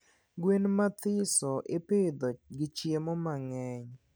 Gwen mmathiso ipidho chiemo mangeny